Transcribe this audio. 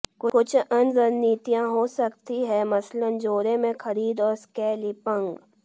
कुछ अन्य रणनीतियां हो सकती हैं मसलन जोड़े में खरीद और स्कैल्पिंग